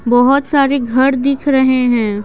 बहुत सारे घर दिख रहे हैं।